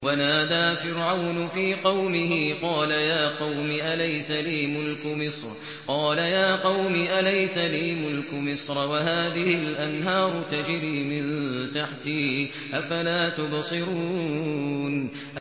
وَنَادَىٰ فِرْعَوْنُ فِي قَوْمِهِ قَالَ يَا قَوْمِ أَلَيْسَ لِي مُلْكُ مِصْرَ وَهَٰذِهِ الْأَنْهَارُ تَجْرِي مِن تَحْتِي ۖ أَفَلَا تُبْصِرُونَ